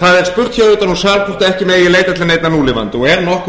það er spurt hér utan úr sal hvort ekki megi leita til neinna núlifandi og er nokkur